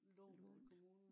lånt nej